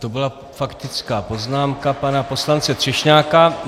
To byla faktická poznámka pana poslance Třešňáka.